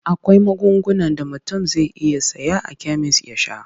Akwai magungunan da mutum zai iya saya a kemis ya sha.